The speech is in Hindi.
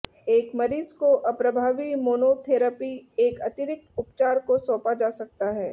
एक मरीज को अप्रभावी मोनोथेरापी एक अतिरिक्त उपचार को सौंपा जा सकता है